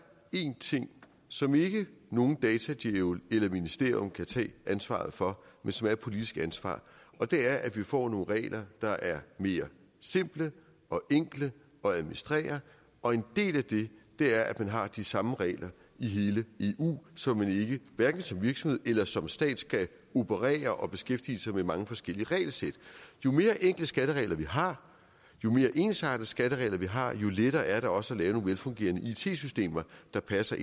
én ting som ikke nogen datadjævel eller ministerium kan tage ansvaret for men som er et politisk ansvar og det er at vi får nogle regler der er mere simple og enkle at administrere og en del af det er at man har de samme regler i hele eu så man hverken som virksomhed eller som stat skal operere og beskæftige sig med mange forskellige regelsæt jo mere enkle skatteregler vi har jo mere ensartede skatteregler vi har jo lettere er det også at lave nogle velfungerende it systemer der passer